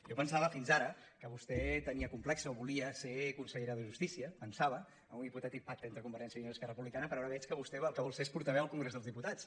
jo pensava fins ara que vostè tenia com·plex o volia ser consellera de justícia pensava amb un hipotètic pacte entre convergència i unió i esquer·ra republicana però ara veig que vostè el que vol ser és portaveu al congrés dels diputats